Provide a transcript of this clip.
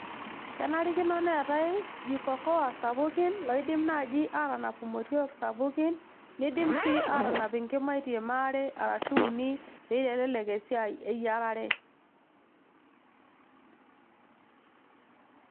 kenarikino neetay jiko koa sapukin loidim naaji aatanap imotiok sapukin nidim sii atanap inkimaitie maare arashu uni peyie eitelelek esiai eyiarare.